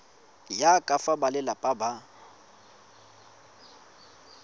ya ka fa balelapa ba